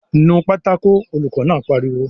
"Nu pátákó!" Olùkọ́ náà pariwo